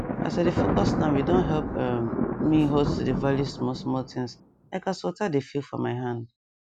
as i dey focus nowe don help um me halt to dey value small small things like as water dey feel for my hand